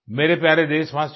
मेरे प्यारे देशवासियो